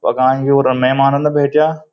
और मैमान रोंदा बैठ्याँ ।